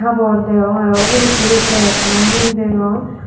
habor deyong aro ubot hi ikko bag nahi degong.